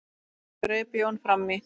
greip Jón fram í.